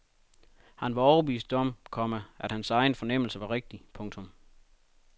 Han var overbevist om, komma at hans egen fornemmelse var rigtig. punktum